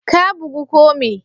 Ka bugu ko me?